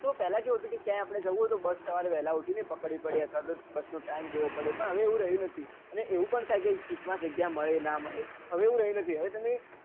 તો પેલા કેવું હતું કે ક્યાંય પણ જવું હોય તો બસ સવારે વેલા ઉઠીને પકડવી પડે અત્યાર્રે ઓ બસ નો ટીમે જોવો પડે હવે એવું રહ્યું નથી અને એવું પણ થાય કે સીટ માં જગઞા મળે કે ના મળે હવે એવું રહ્યું નઈ હવે તમે